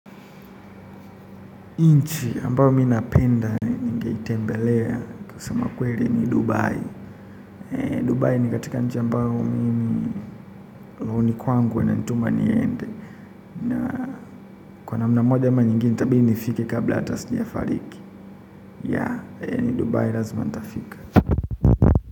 Nchi ambayo mimi napenda ningeitembelea kusema kweli ni Dubai. Dubai ni katika nchi ambayo mimi rohoni kwangu inanituma niende. Na kwa namna moja ama nyingine itabili nifike kabla hata sijafariki. Yaani Dubai lazima nitafika.